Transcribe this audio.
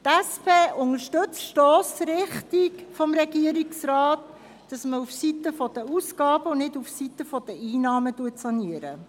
Die SP unterstützt die Stossrichtung des Regierungsrates, auf der Seite der Ausgaben und nicht auf der Seite der Einnahmen zu sanieren.